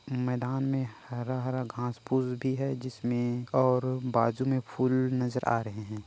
ए मैदान में हरा-हरा घाँस-फूस भी हे जिसमे और बाजु में फूल नज़र आ रहे है।